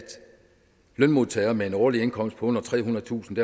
lønmodtagere med en årlig indkomst på under trehundredetusind